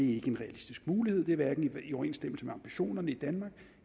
er en realistisk mulighed det er hverken i overensstemmelse med ambitionerne i danmark